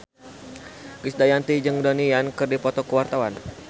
Krisdayanti jeung Donnie Yan keur dipoto ku wartawan